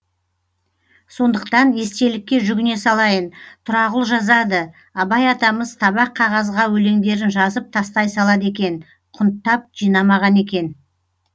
сондықтан естелікке жүгіне салайын тұрағұл жазады абай атамыз табақ қағазға өлеңдерін жазып тастай салады екен құнттап жинамаған екен